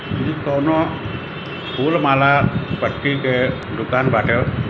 ई कोनो फुल माला बत्ती के दुकान बाटे।